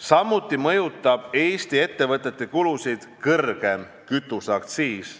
Samuti mõjutab Eesti ettevõtete kulusid kõrgem kütuseaktsiis.